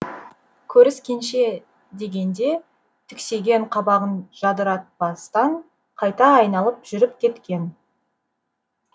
көріс кенше деген де түксиген қабағын жадыратпастан қайта айналып жүріп кеткен